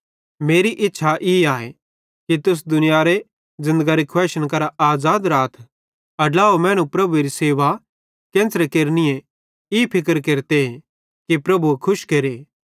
मेरी इच्छा ई आए कि तुस दुनियारे ज़िन्दगरी खुवाइशन करां आज़ाद राथ अड्लाव मैनू प्रभुएरी सेवा केन्च़रे केरनि ई फिक्र केरते कि प्रभुए खुश केरे